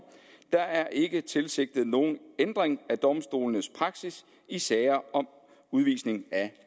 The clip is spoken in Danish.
der er ikke tilsigtet nogen ændring af domstolenes praksis i sager om udvisning af